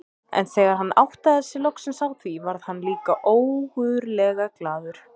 En þegar hann áttaði sig loksins á því varð hann líka ógurlega glaður.